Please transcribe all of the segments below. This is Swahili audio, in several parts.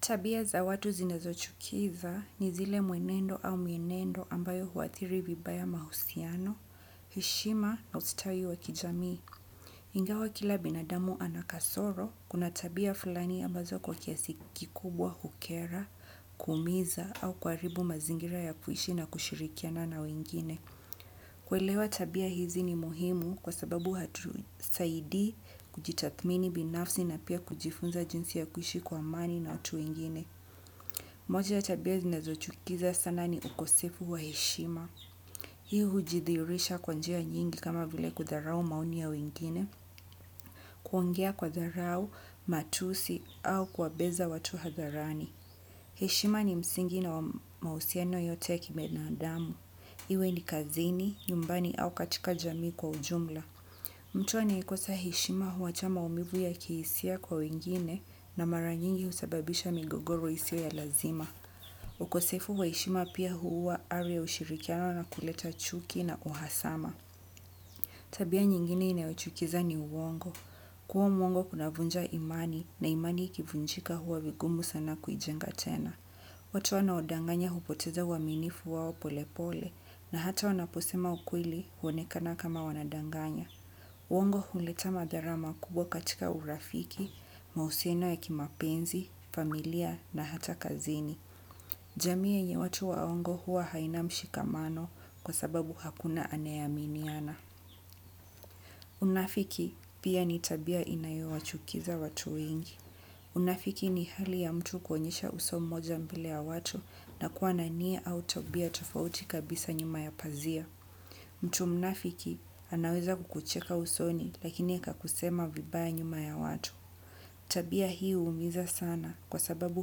Tabia za watu zinazo chukiza ni zile mwenendo au mienendo ambayo huathiri vibaya mahusiano, heshima na ustwi wa kijamii. Ingawa kila binadamu anakasoro, kuna tabia fulani ambazo kwa kiasi kikubwa hukera, kuumiza au kwaribu mazingira ya kuishi na kushirikiana na wengine. Kuelewa tabia hizi ni muhimu kwa sababu hatusaidii kujitathmini binafsi na pia kujifunza jinsi ya kuishi kwa amani na watu wengine. Moja ya tabia zinazo chukiza sana ni ukosefu wa heshima. Hii hujidhiirisha kwa njia nyingi kama vile kudharau maoni ya wengine. Kuongea kwa dharau, matusi au kuwa beza watu hadharani. Heshima ni msingi na mahusiano yote kibinadamu. Iwe ni kazini, nyumbani au katika jamii kwa ujumla. Mtu anayekosa heshima huwacha maumivu ya kihisia kwa wengine, na mara nyingi husababisha migogoro isiyo ya lazima. Ukosefu wa heshima pia huua ari ushirikiano na kuleta chuki na uhasama. Tabia nyingine inayochukiza ni uongo. Kua mwongo kunavunja imani, na imani ikivunjika huwa vigumu sana kuijenga tena. Watu wanaodanganya hupoteza uaminifu wao pole pole, na hata wanaposema ukweli huonekana kama wanadanganya. Uongo huleta madhara makubwa katika urafiki, mahusiano ya kimapenzi, familia na hata kazini. Jamii ya watu waongo huwa haina mshikamano kwa sababu hakuna anayeaminiana. Unafiki pia ni tabia inayowachukiza watu wengi. Unafiki ni hali ya mtu kuonyesha uso mmoja mbele ya watu na kuwa na nia au tabia tofauti kabisa nyuma ya pazia. Mtu mnafiki anaweza kukucheka usoni, lakini kakusema vibaya nyuma ya watu. Tabia hii huumiza sana kwa sababu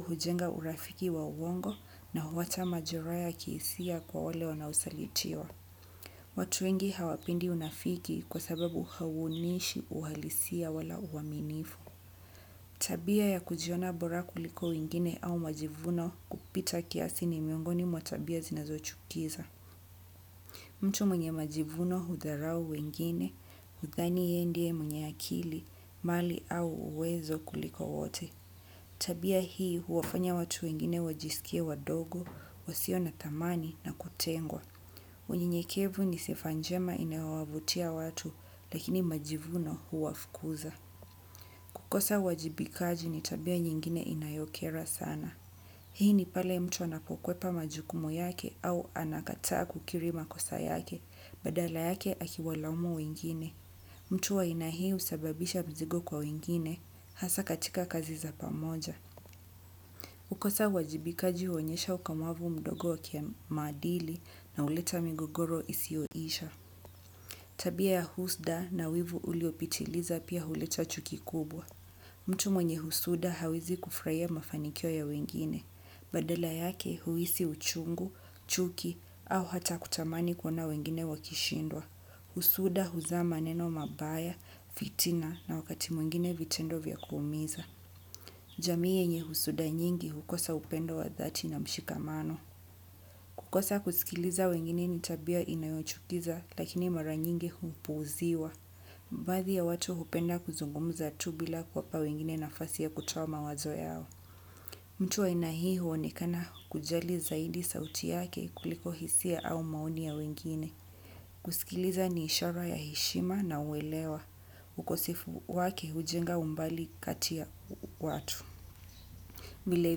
hujenga urafiki wa uongo, na huwacha majeraa ya kihisia kwa wale wanaosalitiwa. Watu wengi hawapendi unafiki kwasababu hauonyeshi uhalisia wala uaminifu. Tabia ya kujiona bora kuliko wengine au majivuno, kupita kiasi ni miongoni mwa tabia zinazo chukiza. Mtu mwenye majivuno hudharau wengine, hudhani ye ndiye mwenye akili, mali au uwezo kuliko wote. Tabia hii huwafanya watu wengine wajisikie wadogo, wasio na tamani na kutengwa. Unyenyekevu ni sifa njema inayowavutia watu, lakini majivuno huwafukuza. Kukosa uajibikaji ni tabia nyingine inayokera sana. Hii ni pale mtu anapokwepa majukumu yake au anakataa kukiri makosa yake, badala yake akiwalaumu wengine. Mtu wa aina hii husababisha mzigo kwa wengine, hasa katika kazi za pamoja. Kukosa uajibikaji huonyesha ukomavu mdogo wa kimadili na huleta migogoro isiyoisha. Tabia ya husda na wivu uliopitiliza pia huleta chuki kubwa. Mtu mwenye husuda hawezi kufurahia mafanikio ya wengine. Badala yake huisi uchungu, chuki au hata kutamani kuona wengine wakishindwa. Husuda huzaa maneno mabaya, fitina na wakati mwingine vitendo vya kuumiza. Jamii yenye husuda nyingi hukosa upendo wa dhati na mshikamano. Kukosa kuskiliza wengine ni tabia inayochukiza lakini mara nyingi hupuuziwa. Baadhi ya watu hupenda kuzungumza tu bila kuwapa wengine nafasi ya kutoa mawazo yao. Mtu wa aina hii huonekana kujali zaidi sauti yake kuliko hisia au maoni ya wengine. Kuskiliza ni ishara ya heshima na uelewa. Ukosefu wake hujenga umbali kati ya watu. Vile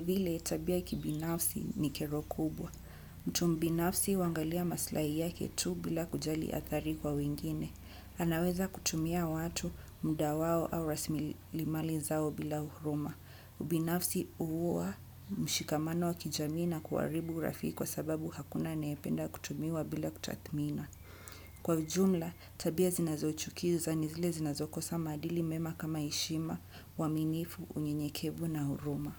vile tabia kibinafsi ni kero kubwa. Mtu mbinafsi huangalia maslahi yake tu bila kujali adhari kwa wengine. Anaweza kutumia watu muda wao au raslimali zao bila huruma. Ubinafsi huua mshikamano wa kijamii na kuharibu urafiki kwa sababu hakuna anayependa kutumiwa bila kutathmina. Kwa ijumla, tabia zinazochukiza ni zile zinazokosa maadili mema kama heshima, uaminifu, unyenyekevu na huruma.